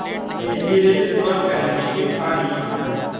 नए सिरे से शुरुआत करने की ठान ली